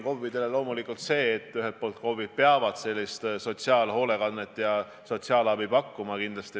KOV-id loomulikult peavad sotsiaalhoolekande ja sotsiaalabi tagama.